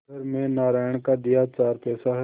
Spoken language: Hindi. घर में नारायण का दिया चार पैसा है